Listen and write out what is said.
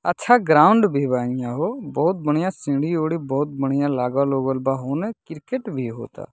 अच्छा ग्राउंड भी बा एनिया हो बहुत बढ़िया सीढ़ी-उढ़ी बहुत बढ़िया लागल बा होने क्रिकेट भी होता।